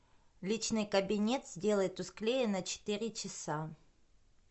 личный кабинет сделай тусклее на четыре часа